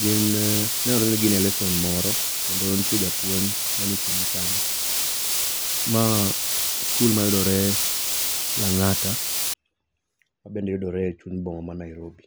gin, nenore ni ginie lesson moro kendo nitie japuonj manie kindgi kanyo. Ma skul mayudore Langata mabe yudore e chuny boma ma Nairobi